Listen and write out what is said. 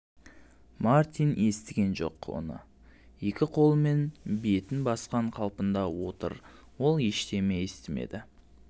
мартин естіген жоқ оны екі қолымен бетін басқан қалпында отыр ол ештеме естімеді